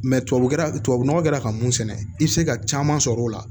tubabu tubabu nɔgɔ kɛra ka mun sɛnɛ i bɛ se ka caman sɔrɔ o la